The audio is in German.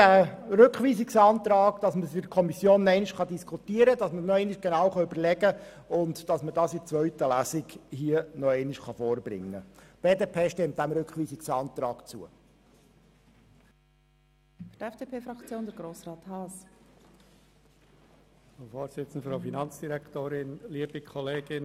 Deshalb stimmt die BDP diesem Rückweisungsantrag zu, damit man es sich in der Kommission noch einmal genau überlegen und das Ergebnis dann in der zweiten Lesung vorbringen kann.